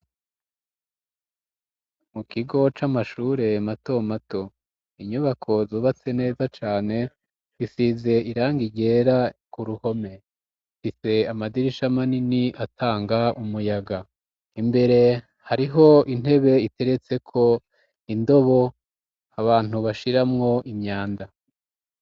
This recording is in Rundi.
mu kigo c'amashure mato mato inyubako zubatse neza cane zisize irangi ryera ku ruhome mfise amadirisha manini atanga umuyaga imbere hariho intebe iteretse ko indobo abantu bashiramwo imyanda